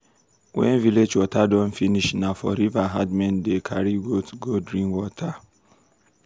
when village water don finish na for river herdmen dey carry goats go drink water.